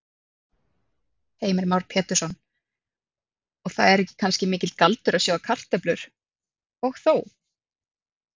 Heimir Már Pétursson: Og það er ekki kannski mikill galdur að sjóða kartöflur, og þó?